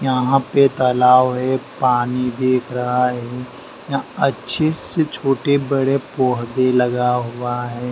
यहां पे तालाब है पानी दिख रहा है या अच्छे से छोटे बड़े पोहदे लगा हुआ है।